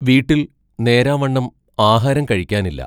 വീട്ടിൽ നേരാം വണ്ണം ആഹാരം കഴിക്കാനില്ല.